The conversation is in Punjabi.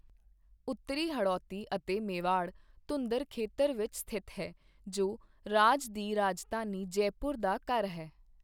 ਉੱਤਰੀ ਹੜੌਤੀ ਅਤੇ ਮੇਵਾੜ ਧੁੰਦਰ ਖੇਤਰ ਵਿੱਚ ਸਥਿਤ ਹੈ, ਜੋ ਰਾਜ ਦੀ ਰਾਜਧਾਨੀ ਜੈਪੁਰ ਦਾ ਘਰ ਹੈ।